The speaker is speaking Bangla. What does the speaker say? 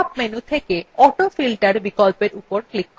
pop up menu থেকে autofilter বিকল্পের উপর click করুন